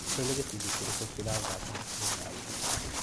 Olĩ nĩ gĩbindi kĩrĩkũ kĩrathaka hakuhĩ na niĩ?